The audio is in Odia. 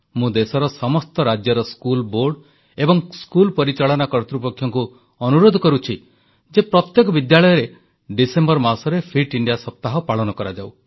ମୁଁ ଦେଶର ସମସ୍ତ ରାଜ୍ୟର ସ୍କୁଲ ବୋର୍ଡ ଏବଂ ସ୍କୁଲ ପରିଚାଳନା କର୍ତ୍ତୃପକ୍ଷଙ୍କୁ ଅନୁରୋଧ କରୁଛି ଯେ ପ୍ରତ୍ୟେକ ବିଦ୍ୟାଳୟରେ ଡିସେମ୍ବର ମାସରେ ଫିଟ ଇଣ୍ଡିଆ ସପ୍ତାହ ପାଳନ କରାଯାଉ